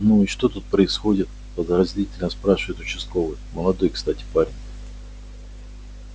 ну и что тут происходит подозрительно спрашивает участковый молодой кстати парень